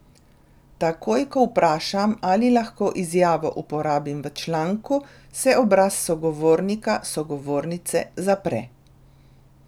Takoj ko vprašam, ali lahko izjavo uporabim v članku, se obraz sogovornika, sogovornice zapre.